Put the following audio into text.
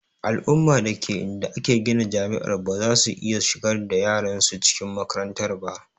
Al'umma dake inda aka gina jami'ar bazasu iya shigar da yaran su cikin makarantar ba